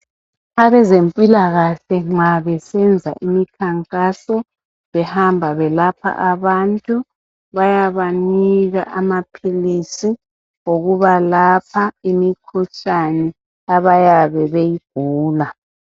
Abezempilakahle nxa besenza imikhankaso behamba belapha abantu bayabanika amaphilisi okubalapha imikhuhlane abayabe beyigula